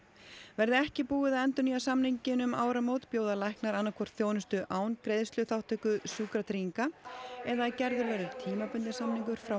verði ekki búið að endurnýja samninginn um áramót bjóða læknar annað hvort þjónustu án greiðsluþátttöku Sjúkratrygginga eða að gerður verður tímabundinn samningur frá